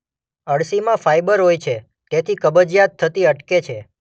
અળસીમાં fibre હોય છે તેથી કબજીયાત થતી અટકે છે.